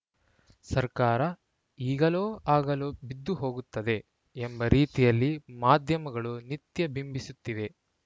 ಸರ್ಕಾರ ಈಗಲೋ ಆಗಲೋ ಬಿದ್ದು ಹೋಗುತ್ತದೆ ಎಂಬ ರೀತಿಯಲ್ಲಿ ಮಾಧ್ಯಮಗಳು ನಿತ್ಯ ಬಿಂಬಿಸುತ್ತಿವೆ